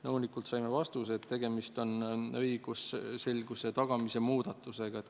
Nõunikult saime vastuse, et tegemist on muudatusega õigusselguse tagamise huvides.